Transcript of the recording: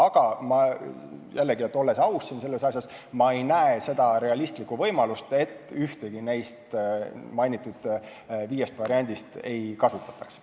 Aga jällegi, olles aus siin selles asjas, ma ei näe seda realistlikku võimalust, et ühtegi neist mainitud viiest variandist ei kasutataks.